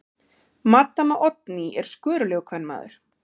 Maddama Oddný er skörulegur kvenmaður.